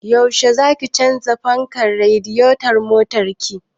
Yaushe zaki canza fankar radiyeton motar ki?